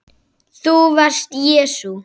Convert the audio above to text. ÞÚ VARST JESÚ